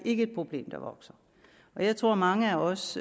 er et problem der vokser jeg tror mange af os